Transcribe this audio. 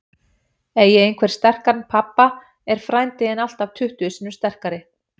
Eigi einhver sterkan pabba er frændi þinn alltaf tuttugu sinnum sterkari.